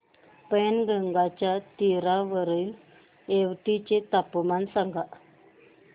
पैनगंगेच्या तीरावरील येवती चे तापमान सांगा